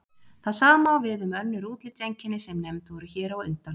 það sama á við um önnur útlitseinkenni sem nefnd voru hér á undan